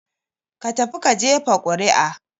Ka tafi ka jefa ƙuri'a!